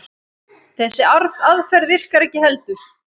Þessi aðferð virkar ekki heldur.